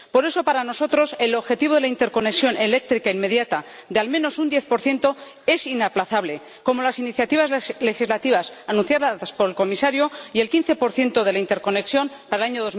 Por eso, para nosotros, el objetivo de la interconexión eléctrica inmediata de al menos un 10 es inaplazable, como las iniciativas legislativas anunciadas por el Comisario y el 15 de la interconexión para el año